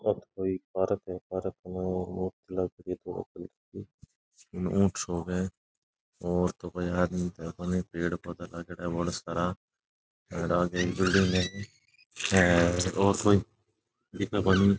आ कोई पार्क है पार्क में कोई ऊँट सो है और तो कोई आदमी है नहीं पेड़ पौधा लागेड़ा है बडा सारा और कोई दिखे कोनी।